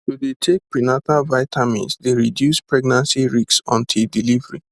to dey take prenatal vitamins dey reduce pregnancy risks until delivery